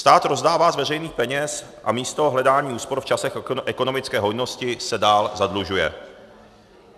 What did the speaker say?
Stát rozdává z veřejných peněz a místo hledání úspor v časech ekonomické hojnosti se dál zadlužuje.